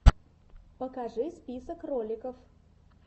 покажи список роликов